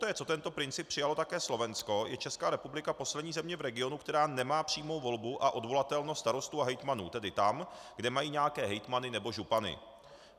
Poté co tento princip přijalo také Slovensko, je Česká republika poslední země v regionu, která nemá přímou volbu a odvolatelnost starostů a hejtmanů, tedy tam, kde mají nějaké hejtmany nebo župany.